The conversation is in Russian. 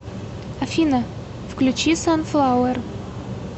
афина включи санфлауэр